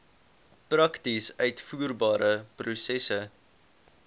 prakties uitvoerbare prosesse